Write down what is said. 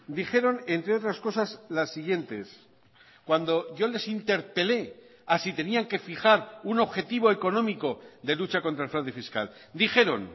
dijeron entre otras cosas las siguientes cuando yo les interpelé a si tenían que fijar un objetivo económico de lucha contra el fraude fiscal dijeron